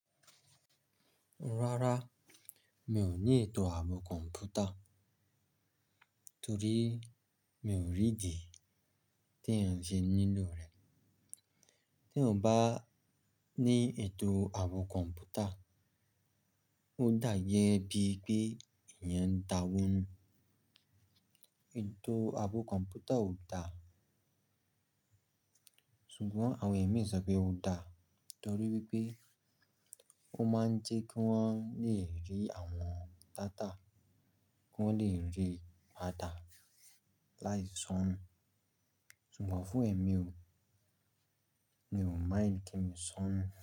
Rárá, mi ò ní ètò ààbò kọ̀mpútà torí mi ò rí ìdí tẹ̀yan ṣe n nílò rẹ̀. Teyan bá ní ètò ààbò kọ̀ǹpútà, ó dáyẹ́ bí pé ẹ̀yan ń dawó nú. Ètò ààbò kọ̀ǹpútà ò da, ṣùgbọ́n àwọn ẹ̀mí sọ pé ó da torí wipé ó máa ń jẹ́ kí wọ́n lè rí àwọn data, kí wọ́n lè rí data láì soonu. Ṣùgbọ́n fún ẹ̀mí ò, mi ò mind kí mi soonu.